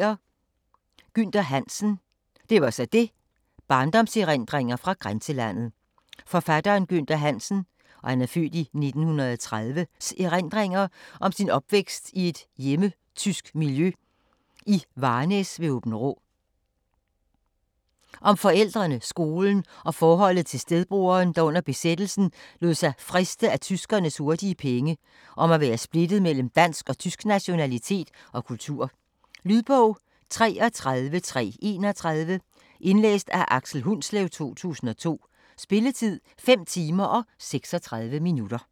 Hansen, Gynther: Det var så det: barndomserindringer fra grænselandet Forfatteren Gynther Hansens (f. 1930) erindringer om sin opvækst i et hjemmetysk miljø i Varnæs ved Åbenrå. Om forældrene, skolen og forholdet til stedbroderen, der under besættelsen lod sig friste af tyskernes hurtige penge, og om at være splittet mellem dansk og tysk nationalitet og kultur. Lydbog 33331 Indlæst af Aksel Hundslev, 2002. Spilletid: 5 timer, 36 minutter.